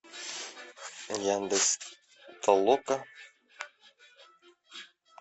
яндекс толока